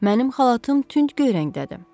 Mənim xalatım tünd göy rəngdədir.